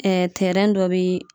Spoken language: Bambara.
Ɛɛ tɛrɛn dɔ be